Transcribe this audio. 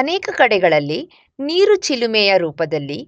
ಅನೇಕ ಕಡೆಗಳಲ್ಲಿ ನೀರು ಚಿಲುಮೆಯ ರೂಪದಲ್ಲಿ